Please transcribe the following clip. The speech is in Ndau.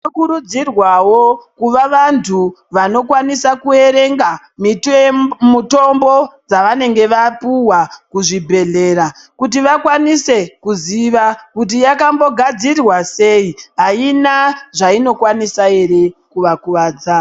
Tinokurudzirwawo kuva vantu, vanokwanisa kuerenga mitombo dzavanenge vapuhwa kuzvibhedhlera kuti vakwanise kuziva kuti yakambogadzirwa sei, haina zvainokwanisa ere kuvakuvadza.